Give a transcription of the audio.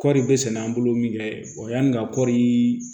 Kɔɔri bɛ sɛnɛ an bolo min kɛ wa yanni ka kɔri